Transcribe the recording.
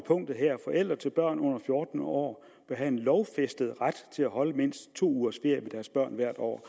forældre til børn under fjorten år bør have en lovfæstet ret til at holde mindst to ugers ferie med deres børn hvert år